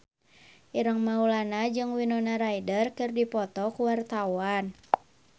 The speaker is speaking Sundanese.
Ireng Maulana jeung Winona Ryder keur dipoto ku wartawan